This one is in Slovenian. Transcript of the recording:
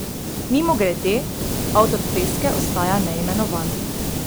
Mimogrede, avtor freske ostaja neimenovan.